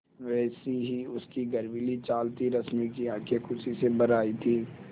वैसी ही उसकी गर्वीली चाल थी रश्मि की आँखें खुशी से भर आई थीं